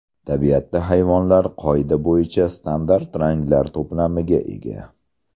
Tabiatda hayvonlar qoida bo‘yicha standart ranglar to‘plamiga ega.